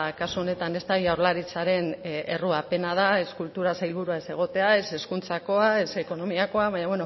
kasu honetan ez da jaurlaritzaren errua pena da ez kultura sailburua ez egotea ez hezkuntzakoa ez ekonomiakoa baina